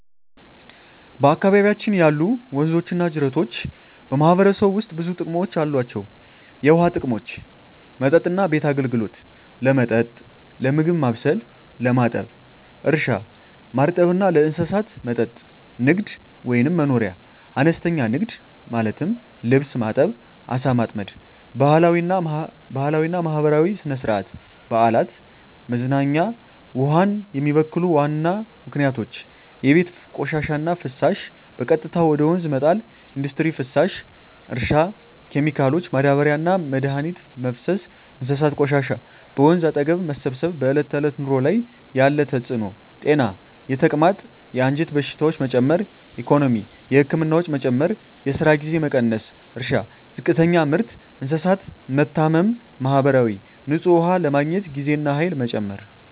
በአካባቢያችን ያሉ ወንዞችና ጅረቶች በማህበረሰቡ ውስጥ ብዙ ጥቅሞች አላቸው፣ የውሃ ጥቅሞች መጠጥና ቤት አገልግሎት – ለመጠጥ፣ ለምግብ ማብሰል፣ ለማጠብ እርሻ – ማርጠብ እና ለእንስሳት መጠጥ ንግድ/መኖርያ – አነስተኛ ንግድ (ልብስ ማጠብ፣ ዓሣ ማጥመድ) ባህላዊና ማህበራዊ – ሥነ-ሥርዓት፣ በዓላት፣ መዝናኛ ውሃን የሚበክሉ ዋና ምክንያቶች የቤት ቆሻሻና ፍሳሽ – በቀጥታ ወደ ወንዝ መጣል ኢንዱስትሪ ፍሳሽ – እርሻ ኬሚካሎች – ማዳበሪያና መድኃኒት መፍሰስ እንስሳት ቆሻሻ – በወንዝ አጠገብ መሰብሰብ በዕለት ተዕለት ኑሮ ላይ ያለ ተጽዕኖ ጤና – የተቅማጥ፣ የአንጀት በሽታዎች መጨመር ኢኮኖሚ – የህክምና ወጪ መጨመር፣ የስራ ጊዜ መቀነስ እርሻ – ዝቅተኛ ምርት፣ እንስሳት መታመም ማህበራዊ – ንጹህ ውሃ ለማግኘት ጊዜና ኃይል መጨመር